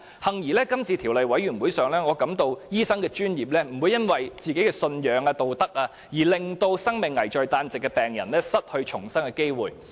幸而，在今次法案委員會的審議工作中，我感到醫生的專業並不會因為信仰或道德規條，而令生命危在旦夕的病人失去重生的機會。